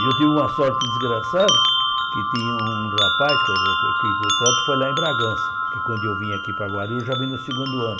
E eu tive uma sorte desgraçada, que tinha um rapaz, que o trote foi lá em Bragança, porque quando eu vim aqui para Guarulhos, eu já vim no segundo ano.